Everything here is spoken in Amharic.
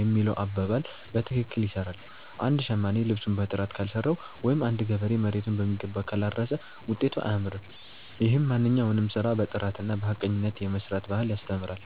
የሚለው አባባል በትክክል ይሰራል። አንድ ሸማኔ ልብሱን በጥራት ካልሰራው ወይም አንድ ገበሬ መሬቱን በሚገባ ካላረሰ ውጤቱ አያምርም። ይህም ማንኛውንም ስራ በጥራትና በሐቀኝነት የመስራት ባህልን ያስተምራል።